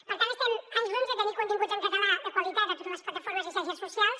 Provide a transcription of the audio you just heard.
per tant estem a anys llum de tenir continguts en català de qualitat a totes les plataformes i xarxes socials